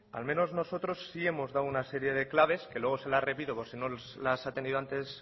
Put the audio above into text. al menos nosotros sí hemos dado una serie de claves que luego se las repito por si no las han tenido antes